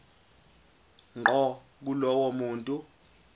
ngqo kulowo muntu